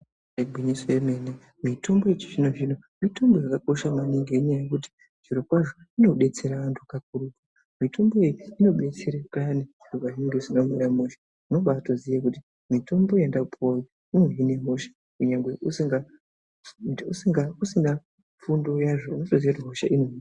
Igwinyiso remene mitombo yechizvino-zvino mitombo yakakosha maningi nenyaya yekuti zvirokwazvo inodetsera antu kakurutu. Mitombo iyi inodetsera payani zviro pazvinenge zvisina kumira mushe. Unobaatoziye kuti mitombo yandapuwa iyi inohine hosha kunyange usina fundo yazvo, unotoziye kuti hosha ino....